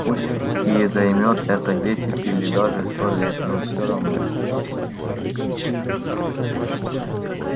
пусть и займёт это десять или даже сто лет но всё равно